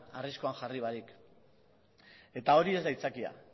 arriskuan jarri barik eta hori ez da aitzakia